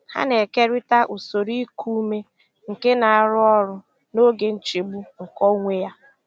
Ha na-ekerịta usoro iku ume nke na-arụ ọrụ n'oge nchegbu nke onwe ha.